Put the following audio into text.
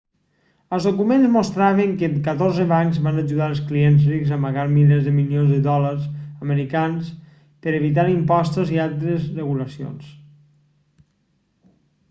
els documents mostraven que catorze bancs van ajudar els clients rics a amagar milers de milions de dòlars americans per evitar impostos i altres regulacions